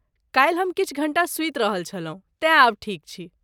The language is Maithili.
काल्हि हम किछु घण्टा सूति रहल छलहुँ तेँ आब ठीक छी।